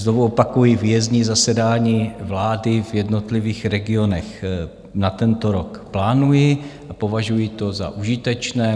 Znovu opakuji, výjezdní zasedání vlády v jednotlivých regionech na tento rok plánuji a považuji to za užitečné.